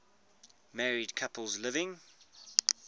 married couples living